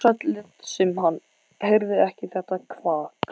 Ársæll lét sem hann heyrði ekki þetta kvak.